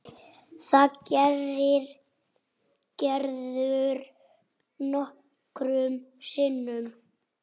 Það gerir Gerður nokkrum sinnum.